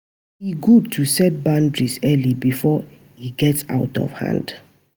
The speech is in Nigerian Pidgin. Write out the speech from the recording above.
E gud to set boundaries early bifor e get out of hand.